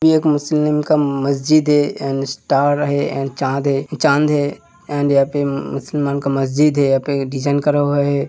ये एक मुस्लिम का मस्जिद है एंड स्टार है एंड चाँद है चाँद है एंड यहाँ पर मुसलमान का मस्जिद है। यहां पे डिजाइन करा हुआ है।